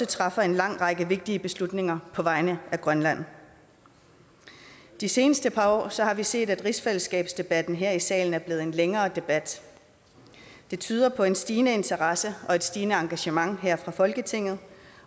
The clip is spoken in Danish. træffer en lang række vigtige beslutninger på vegne af grønland de seneste par år har vi set at rigsfælleskabsdebatten her i salen er blevet en længere debat det tyder på en stigende interesse og et stigende engagement her i folketinget